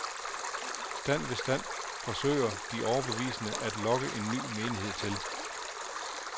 Stand ved stand forsøger de overbeviste at lokke en ny menighed til.